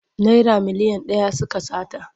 Naira miliyan ɗaya suka sata.